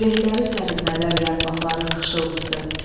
Ürəkləri sərinlədər yarpaqların xışıltısı.